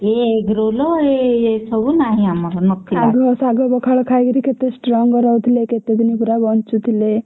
ଇଏ egg roll ଏ ସବୁ ନାହିଁ ଆମର ନଥିଲା